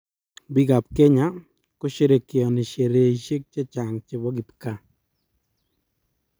Biikab kenya kosherekeoni sherehishe che chang che bo kipkaa.